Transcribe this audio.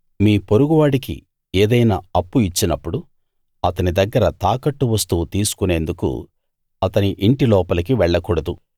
మీ పొరుగువాడికి ఏదైనా అప్పు ఇచ్చినప్పుడు అతని దగ్గర తాకట్టు వస్తువు తీసుకొనేందుకు అతని ఇంటి లోపలికి వెళ్లకూడదు